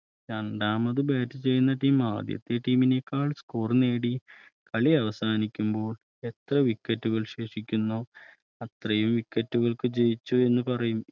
രണ്ടാമത് Bat ചെയ്യുന്ന Team ആദ്യത്തെ Team നേക്കാൾ Score നേടി കളി അവസാനിക്കുമ്പോൾഎത്ര wicket കൾ ശേഷിക്കുന്നുവോ അത്രയും wicket കൾക്ക് ജയിച്ചു എന്ന് പറയും